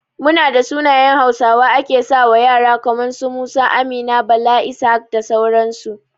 Munada sunayen hausawa ake sawa ƴara kaman su, Musa, Amina, Bala, Ishaq da sauran su